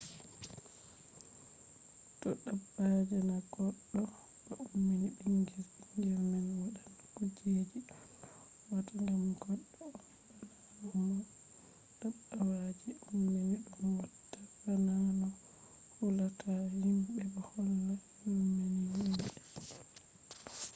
to dabba je na goddo ba ummini bingel bingel man wadan kujeji don ko wawata gam goddo on bana no dabbawa je ummini dum watta bana no hulata himbe bo wala yurmina himbe